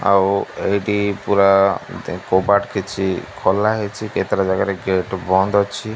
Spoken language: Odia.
ଆଉ ଏଇଟି ପୁରା ଦେଖ କବାଟ କିଛି ଖୋଲା ହେଇଛି କେତେଟା ଜାଗାରେ ଗେଟ୍ ବନ୍ଦ ଅଛି।